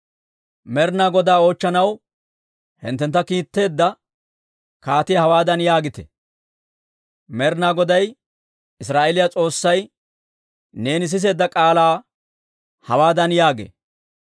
«Med'ina Godaa oochchanaw hinttentta kiitteedda kaatiyaa hawaadan yaagite; ‹Med'ina Goday Israa'eeliyaa S'oossay neeni siseedda k'aalaa hawaadan yaagee;›